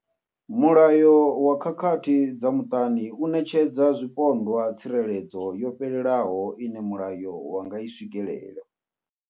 Mulayo wa khakhathi dza muṱani u ṋetshedza zwipondwa tsireledzo yo fhelelaho ine mulayo wa nga i swikelela.